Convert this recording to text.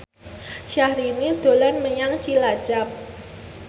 Syahrini dolan menyang Cilacap